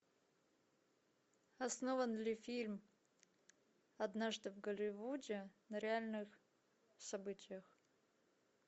основан ли фильм однажды в голливуде на реальных событиях